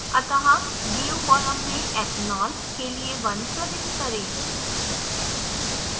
अतः do column में ethanol के लिए 1 प्रविष्ट करें